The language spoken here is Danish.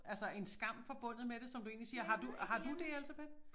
Altså en skam forbundet med som du egentlig siger har du har du det Elsebeth?